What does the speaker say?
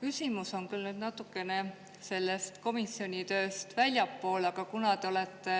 Küsimus on küll natukene sellest komisjoni tööst väljapoole, aga kuna te olete